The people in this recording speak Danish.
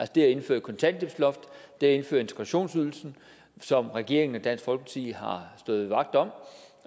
det at indføre et kontanthjælpsloft det at indføre integrationsydelsen som regeringen og dansk folkeparti har stået vagt om